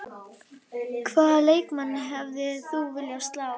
Hvaða leikmann hefðir þú viljað slá?